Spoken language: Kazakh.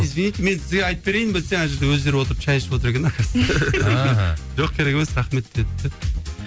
извините мен сізге айтып берейін бе десем әне жерде өздері отырып шәй ішіп отыр екен жоқ керек емес рахмет деді де